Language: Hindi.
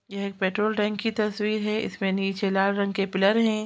यह एक पेट्रोल टैंक की तस्वीर हैं इसमें नीचे लाल रंग के पिलर हैं ।